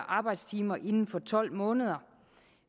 arbejdstimer inden for tolv måneder